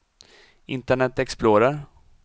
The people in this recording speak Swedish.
internet explorer